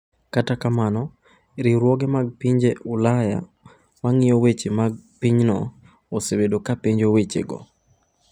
Kata kamano, riwruoge mag piny Ulaya ma ng’iyo weche mag pinyno osebedo ka penjo wechego.